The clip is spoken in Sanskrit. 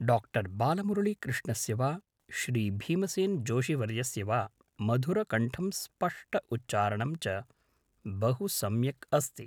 डाक्टर् बालमुरलिकृष्णस्य वा श्री भीमसेन् जोषिवर्यस्य वा मधुरकण्ठं स्पष्ट उच्चारणं च बहु सम्यक् अस्ति